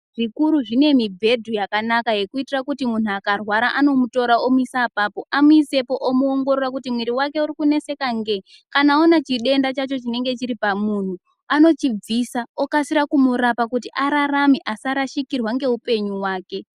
Zvikuru zvinemibhedha yakanaka yekuitira kuti muntu akarwara anomutore omuise apapo ,amuise amuongorora kuti muiri wake ukuneseka ngei .Kana aona chidenda chacho chinenge chiri pamuntu anochibvisa okaskre kumurapa kuti ararame asarashikirwa neupenyu wake.